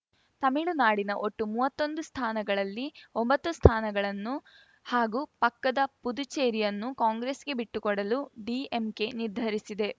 ತಮಿಳುನಾಡಿನ ಒಟ್ಟು ಮೂವತ್ತೊಂದು ಸ್ಥಾನಗಳಲ್ಲಿ ಒಂಬತ್ತು ಸ್ಥಾನಗಳನ್ನು ಹಾಗೂ ಪಕ್ಕದ ಪುದುಚೇರಿಯನ್ನು ಕಾಂಗ್ರೆಸ್‌ಗೆ ಬಿಟ್ಟುಕೊಡಲು ಡಿಎಂಕೆ ನಿರ್ಧರಿಸಿದೆ